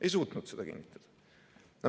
Ei suutnud kinnitada.